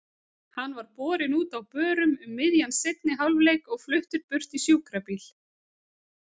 Hann var borinn út á börum um miðjan seinni hálfleik og fluttur burt í sjúkrabíl.